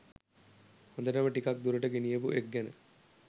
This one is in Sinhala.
හොඳටම ටිකක් දුරට ගෙනියපු එක් ගැන.